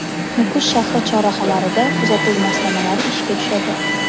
Nukus shahri chorrahalarida kuzatuv moslamalari ishga tushadi.